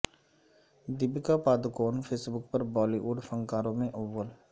Deepika Padukone Facebook پر Bollywood فنکاروں میں اول